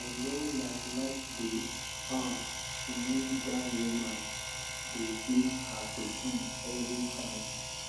i no like like the um way dat woman dey beat her pikin every time